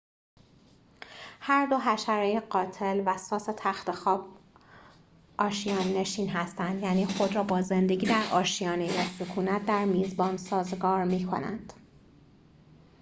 هر دو حشره قاتل و ساس تختخواب آشیان نشین هستند یعنی خود را با زندگی در آشیانه یا سکونت در میزبان سازگار می‌کنند